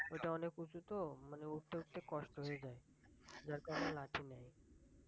ঐটা অনেক উঁচু তো মানে উঠতে উঠতে কষ্ট হয়যায় যার কারণে লাঠি নেয়